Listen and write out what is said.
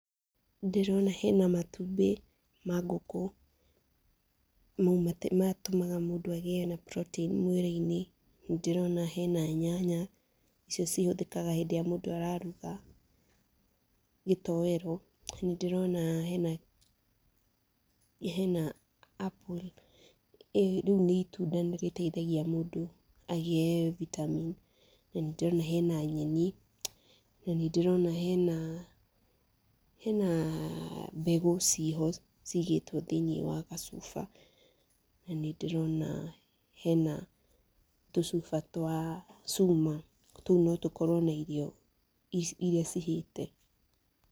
Ndĩrona hena na matũmbĩ ma ngũkũ, matũmaga mũndũ agĩe na protein mwĩrĩinĩ. Ndĩrona hena nyanya, icio cihũthĩkaga hĩndi ĩrĩa mũndũ araruga gĩtoero. Nĩndĩrona hena, hena apple rĩu nĩ itunda nĩ rĩteithagia mũndũ agĩe vitamin. Na nĩndĩrona hena nyeni. Na nĩndĩrona hena, hena mbegũ ciĩho, cigĩtwo thĩini wa gacuba, na nĩndĩrona hena na tucuba twa Chuma ,tũu no tũkorwo na irio iria cihiĩĩte.